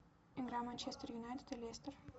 игра манчестер юнайтед и лестер